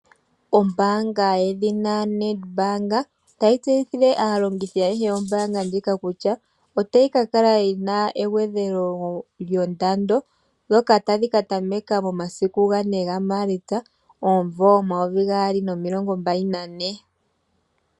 Ombaanga yedhina Nedbank otayi tseyithile aalongithi ayehe yombaanga kutya otayi ka kala yi na egwedhelo lyondando ndyoka tali ka tameka momasiku 4 Maalitsa 2024.